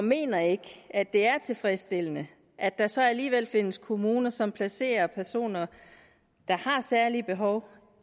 mener ikke at det er tilfredsstillende at der så alligevel findes kommuner som placerer personer der har særlige behov